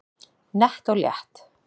Nett og létt